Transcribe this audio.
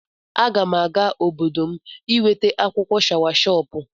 Aga m aga obodo m iweta akwụkwọ shawashọpụ.